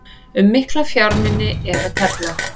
Um mikla fjármuni er að tefla